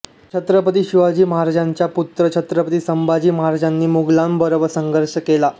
छत्रपती शिवाजी महाराजांचे पुत्र छत्रपती संभाजी महाराजांनी मुघलाबरोबर संघर्ष केला